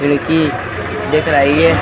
खिड़की दिख रही है।